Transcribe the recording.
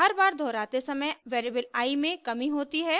हर बार दोहराते समय वेरिएबल i में कमी होती है